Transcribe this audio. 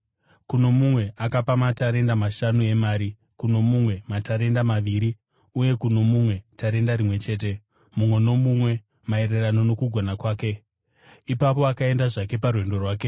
Kuno mumwe akapa matarenda mashanu emari, kuno mumwe matarenda maviri, uye kuno mumwe tarenda rimwe chete, mumwe nomumwe maererano nokugona kwake. Ipapo akaenda zvake parwendo rwake.